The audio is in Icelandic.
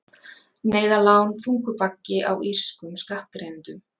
Neyðarlán þungur baggi á írskum skattgreiðendum